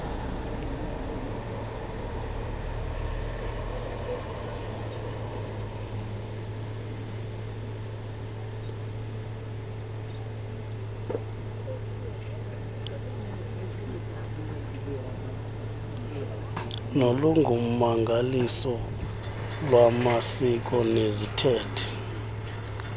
nolungummangaliso lwamasiko neziithethe